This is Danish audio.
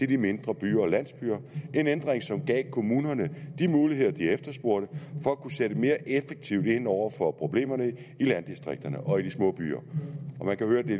de mindre byer og landsbyer en ændring som gav kommunerne de muligheder de efterspurgte for at kunne sætte mere effektivt ind over for problemerne i landdistrikterne og i de små byer man kan høre at det